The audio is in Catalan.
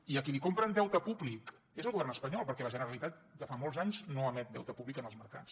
i a qui li compren deute públic és al govern espanyol perquè la generalitat de fa molts anys no emet deute públic en els mercats